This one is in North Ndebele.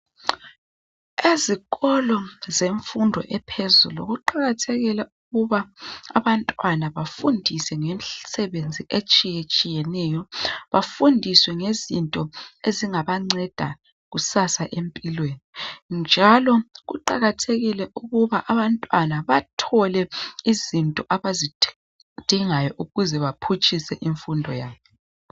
Ezikolo zemfundo ephezulu kuqakathekile ukuba abantwana bafundiswe ngemsebenzi etshiyetshineyo bafundiswe ngezinto ezingabanceda kusasa empilweni, njalo kuqakathekile ukuba bathole izinto ezingabancedisa ukuba baphutshise impilo yabo.